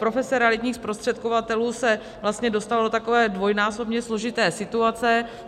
Profese realitních zprostředkovatelů se vlastně dostala do takové dvojnásobně složité situace.